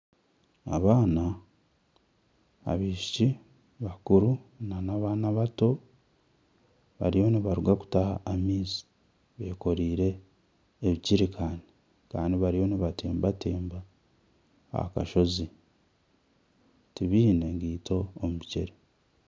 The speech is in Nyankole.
Abaana abishiki bakuru nana abaana abato bariyo nibaruga kutaha amaizi bekoreire ejiricani Kandi bariyo nibatembatemba aha kashozi tibiine ngaito omu bigyere.